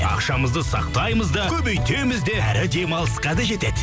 ақшамызды сақтаймыз да көбейтеміз де әрі демалысқа да жетеді